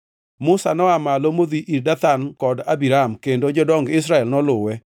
Musa noa malo modhi ir Dathan kod Abiram, kendo jodong Israel noluwe.